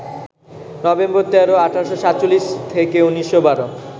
November ১৩, ১৮৪৭ - ১৯১২